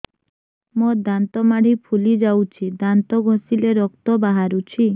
ମୋ ଦାନ୍ତ ମାଢି ଫୁଲି ଯାଉଛି ଦାନ୍ତ ଘଷିଲେ ରକ୍ତ ବାହାରୁଛି